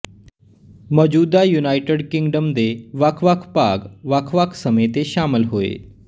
ਮੌਜੂਦਾ United Kingdom ਦੇ ਵੱਖ ਵੱਖ ਭਾਗ ਵੱਖ ਵੱਖ ਸਮੇਂ ਤੇ ਸ਼ਾਮਲ ਹੋਏ